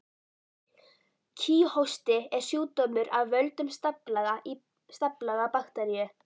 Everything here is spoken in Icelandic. Kíghósti er sjúkdómur af völdum staflaga bakteríu.